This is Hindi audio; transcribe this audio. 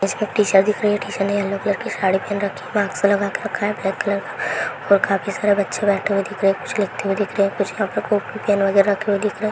टीचर दिख रही हैं टीचर ने येलो कलर की साड़ी पहन रखी है मास्क लगा रखा है ब्लैक कलर का और काफी सारे बच्चे बैठे हुए दिख रहे है कुछ लिखते हुए दिख रहे है कुछ यहां पर कॉपी पैन वगैरा --